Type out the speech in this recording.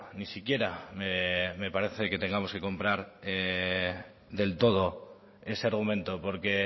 ni siquiera me parece que tengamos que comprar del todo ese argumento porque